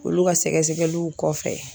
Olu ka sɛgɛsɛliw kɔfɛ